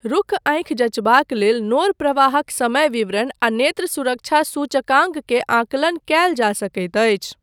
रुक्ख आँखि जञ्चबाक लेल नोर प्रवाहक समय विवरण आ नेत्र सुरक्षा सूचकाङ्क के आंकलन कयल जा सकैत अछि।